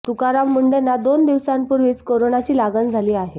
तुकाराम मुंढेंना दोन दिवसांपूर्वीच कोरोनाची लागण झाली आहे